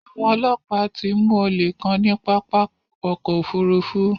Awọn ọlọpa tó mú ọlé kàn ni pápá ọkọ̀ òfurufú